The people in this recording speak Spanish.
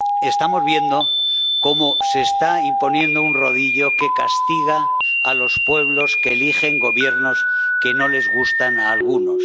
Estamos viendo cómo se está imponiendo un rodillo que castiga a los pueblos que eligen Gobiernos que no les gustan a algunos.